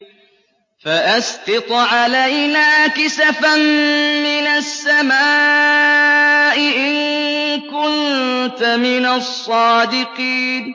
فَأَسْقِطْ عَلَيْنَا كِسَفًا مِّنَ السَّمَاءِ إِن كُنتَ مِنَ الصَّادِقِينَ